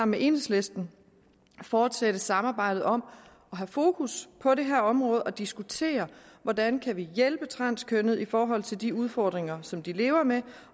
med enhedslisten fortsætte samarbejdet om at have fokus på det her område og diskutere hvordan vi kan hjælpe transkønnede i forhold til de udfordringer som de lever med